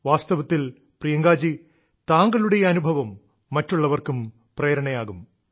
വാസ്തവത്തിൽ പ്രിയങ്കാജി താങ്കളുടെ ഈ അനുഭവം മറ്റുള്ളവർക്കും പ്രേരണയാകും